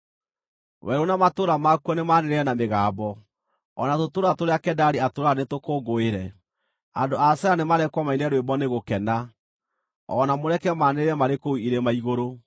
Werũ na matũũra makuo nĩmanĩrĩre na mĩgambo; o na tũtũũra tũrĩa Kedari atũũraga nĩtũkũngũĩre. Andũ a Sela nĩmarekwo maine rwĩmbo nĩ gũkena; o na mũreke maanĩrĩre marĩ kũu irĩma-igũrũ.